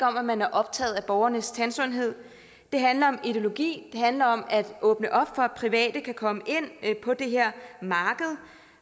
om at man er optaget af borgernes tandsundhed det handler om ideologi det handler om at åbne for at private kan komme ind på det her